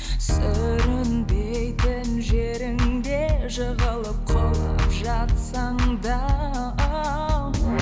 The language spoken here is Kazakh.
сүрінбейтін жеріңде жығылып құлап жатсаң да